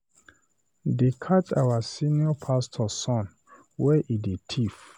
They catch our senior pastor son where he dey thief.